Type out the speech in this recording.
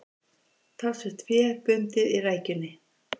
Talsvert fé bundið í rækjunni